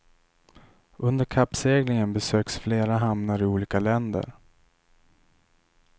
Under kappseglingen besöks flera hamnar i olika länder.